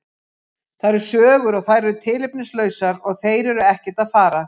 Það eru sögur og þær eru tilefnislausar og þeir eru ekkert að fara.